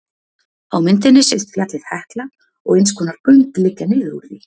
á myndinni sést fjallið hekla og eins konar göng liggja niður úr því